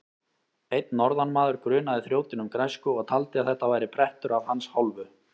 Einn norðanmaður grunaði þrjótinn um græsku og taldi að þetta væri prettur af hans hálfu.